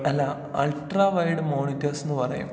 അല്ലാ ultra wired മോണിറ്റർസ്ന്ന് പറയും.